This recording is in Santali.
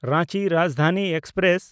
ᱨᱟᱸᱪᱤ ᱨᱟᱡᱽᱫᱷᱟᱱᱤ ᱮᱠᱥᱯᱨᱮᱥ